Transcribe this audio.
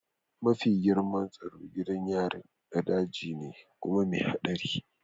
Mafi girman tsaro gidan yarin na daji ne kuma mai haɗari